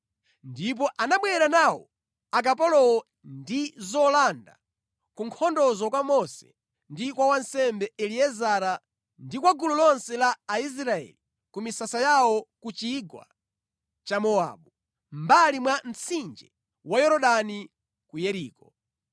Ndipo anabwera nawo akapolowo ndi zolanda ku nkhondozo kwa Mose ndi kwa wansembe Eliezara ndi kwa gulu lonse la Aisraeli ku misasa yawo ku chigwa cha Mowabu, mʼmbali mwa mtsinje wa Yorodani ku Yeriko.